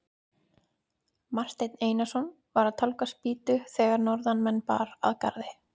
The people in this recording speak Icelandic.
Marteinn Einarsson var að tálga spýtu þegar norðanmenn bar að garði.